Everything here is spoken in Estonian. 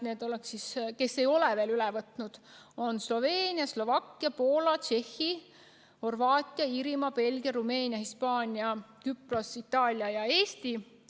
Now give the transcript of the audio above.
Need, kes ei ole seda veel üle võtnud, on Sloveenia, Slovakkia, Poola, Tšehhi, Horvaatia, Iirimaa, Belgia, Rumeenia, Hispaania, Küpros, Itaalia ja Eesti.